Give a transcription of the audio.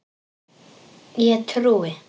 Ég trúi.